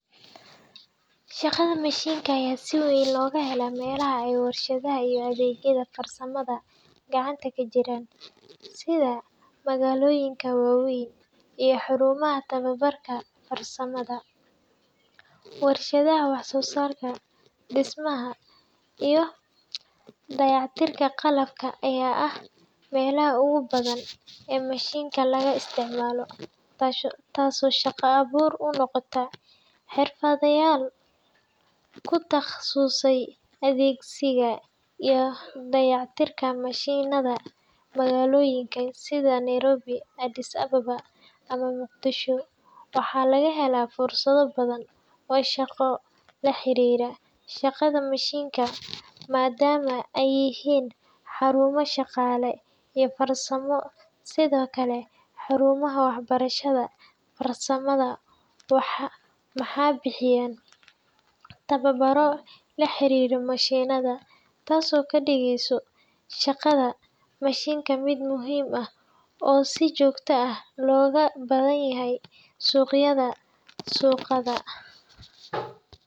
Shaqada mashiinka ayaa si weyn looga helaa meelaha ay warshadaha iyo adeegyada farsamada gacanta ka jiraan, sida magaalooyinka waaweyn iyo xarumaha tababarka farsamada . Warshadaha wax-soo-saarka, dhismaha, iyo dayactirka qalabka ayaa ah meelaha ugu badan ee mashiinno laga isticmaalo, taasoo shaqo abuur u noqota xirfadlayaal ku takhasusay adeegsiga iyo dayactirka mashiinnada. Magaalooyinka sida Nairobi, Addis Ababa, ama Muqdisho waxaa laga helaa fursado badan oo shaqo oo la xiriira shaqada mashiinka, maadaama ay yihiin xarumo dhaqaale iyo farsamo. Sidoo kale, xarumaha waxbarashada farsamada waxay bixiyaan tababaro la xiriira mashiinnada, taasoo ka dhigaysa shaqada mashiinka mid muhiim ah oo si joogto ah looga baahan yahay suuqyada shaqada.